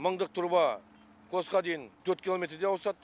мыңдық труба постқа дейін төрт километрдей ауысады